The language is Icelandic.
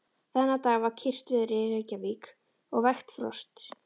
Þennan dag var kyrrt veður í Reykjavík og vægt frost.